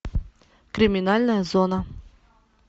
криминальная зона